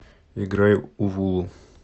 играй увулу